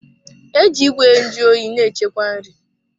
E ji Ìgwè nju oyi na-echekwa nri.